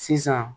Sisan